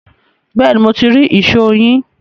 Bẹ́ẹ̀ ni, mo ti rí ìṣó yín